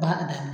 Baara daminɛ